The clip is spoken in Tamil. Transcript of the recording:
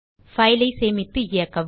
பைல் ஐ சேமித்து இயக்கவும்